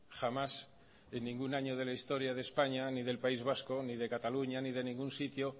jamás en ningún año de la historia de españa ni del país vasco ni de cataluña ni de ningún sitio